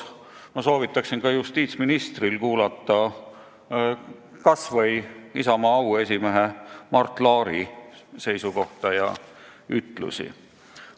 Ma soovitan ka justiitsministril kuulata kas või Isamaa auesimehe Mart Laari seisukohta ja ütlusi.